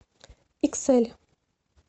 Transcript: иксэль